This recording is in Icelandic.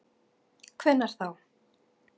Hvenær þá?